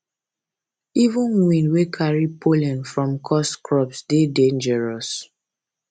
even wind wey carry pollen from cursed crops dey dangerous